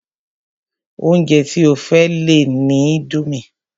Oúnjẹ tí ó fẹ́ lè ni indomie